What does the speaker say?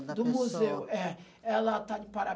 Do museu. É. Ela está de